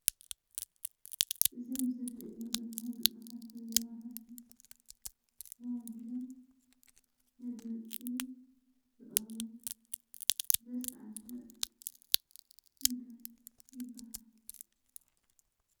እዚ ኣብ ምስሊ እትርእይዎ ዘለኹም ግጥምታትን ዜማታትን ተዋዲዶም ነድመፅቲ ዝቐርቡ ዘሳዕስዕ እንታይ ይብሃል?